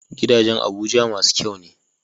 Gidajan abuja masu kyane